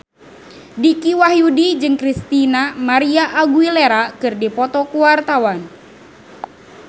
Dicky Wahyudi jeung Christina María Aguilera keur dipoto ku wartawan